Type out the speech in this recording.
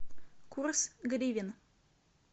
курс гривен